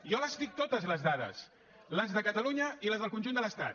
jo les dic totes les dades les de catalunya i les del conjunt de l’estat